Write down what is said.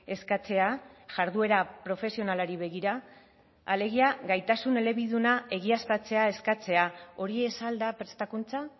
eskatzea jarduera profesionalari begira alegia gaitasun elebiduna egiaztatzea eskatzea hori ez al da prestakuntza